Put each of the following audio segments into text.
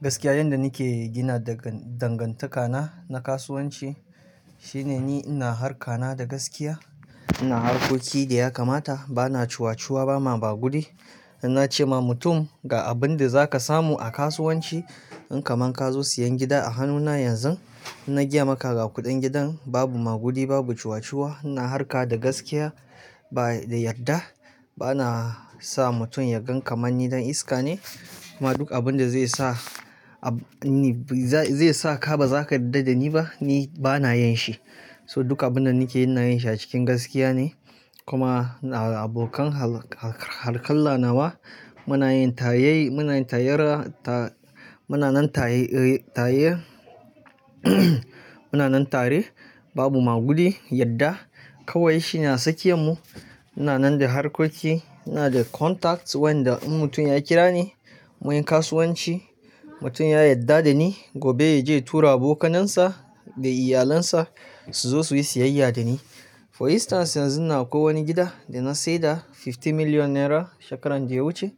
Gaskiya yanda nake gina dangantakana na kasuwanci shine ni ina harka na da gaskiya, ina harkoki da ya kamata, bana cuwa-cuwa, bana maguɗi ina ance ma mutum ga abin da za ka samu a kasuwanci in kamun ka zo siyan gida a hannuna yanzu, inna gaya maka ga kuɗin gidan babu maguɗi, babu cuwa-cuwa, ina harka da gaskiya ba da yarda. Bana sa mutum ya gan kamar ni ɗan iska ne, kuma duk abin da zai sa, zai saka baza ka yarda da ni ba ni bana yin shi. So duk abun da nake yi ina yin shi a cikin gaskiya ne. Kuma abokan harkalla nawa muna yin tayaye, muna yin tayara ta-- muna nan tayaye, muna nan tare babu magudi, yarda kawai shi na sakiyar mu. Muna nan da harkoki, muna da contacts wanda in mutum ya kira ni mu yi kasuwanci, mutum ya yarda da ni gobe ya je tura abokanansa da iyalansa su zo su yi siyayya da ni. For instance yanzun nan akwai wani gida da na saida fifty million naira shekaran daya wuce.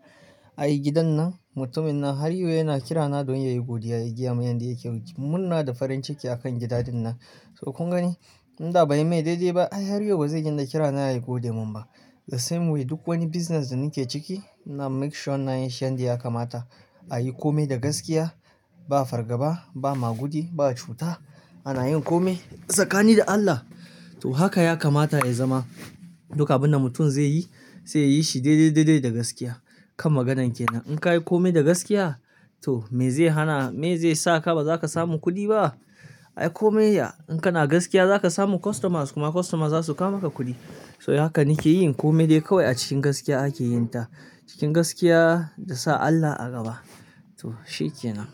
Ai gidan nan mutumin nan har yau yana kira na don yayi godiya, ya gaya min yanda yake murna da farin ciki a kan gida dinnan. So kun gani? Inda bai yi mai daidai ba ai har yau bazai dinga kira na ya gode mun ba. The same way duk wani business da nake ciki ina make sure na yi shi yanda ya kamata. A yi kome da gaskiya, ba fargaba, ba maguɗi, ba cuta. Ana yin kome tsakani da Allah. To haka ya kamata ya zama duk abun da mutum zai yi sai ya yi shi daidai daidai da gaskiya. Kan maganan ke nan in ka yi kome da gaskiya to me zai hana, me zai saka ba zaka samu kuɗi ba? Ai kome in kana gaskiya za ka samu customers kuma customers za su kawo maka kuɗi. So haka nake yin kome dai kawai a cikin gaskiya ake yin ta. Cikin gaskiya da sa Allah a gaba. To shi ke nan.